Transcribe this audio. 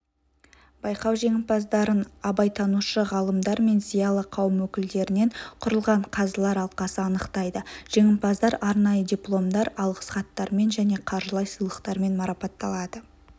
байқау жеңімпаздарын абайтанушы ғалымдар мен зиялы қауым өкілдерінен құрылған қазылар алқасы анықтайды жеңімпаздар арнайы дипломдар алғыс хаттармен және қаржылай сыйлықтармен марапатталады